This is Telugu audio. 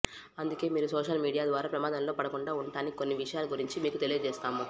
అందుకే మీరు సోషల్ మీడియా ద్వారా ప్రమాదంలో పడకుండా ఉండటానికి కొన్ని విషయాల గురించి మీకు తెలియజేస్తాము